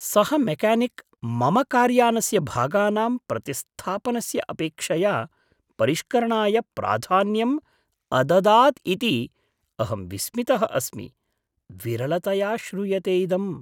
सः मेक्यानिक् मम कार्यानस्य भागानां प्रतिस्थापनस्य अपेक्षया परिष्करणाय प्राधान्यम् अददात् इति अहं विस्मितः अस्मि, विरलतया श्रूयते इदम्।